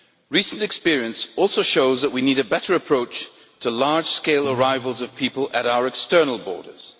Recent experience also shows that we need a better approach to large scale arrivals of people at our external borders.